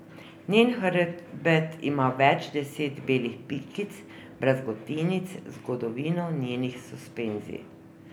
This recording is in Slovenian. Njen hrbet ima več deset belih pikic, brazgotinic, zgodovino njenih suspenzij.